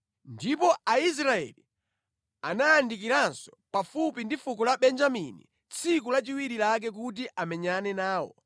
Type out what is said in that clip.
Ndipo Aisraeli anayandikiranso pafupi ndi fuko la Benjamini tsiku lachiwiri lake kuti amenyane nawo.